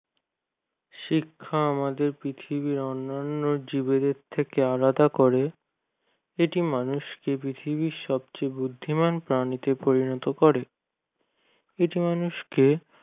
শিক্ষা আমাদের পৃথিবীর অনান্য জীবেদের থেকে আলাদা করে এটি মানুষকে পৃথিবীর সবচেয়ে বুদ্ধিমান প্রাণীতে পরিণত করে কিছু মানুষকে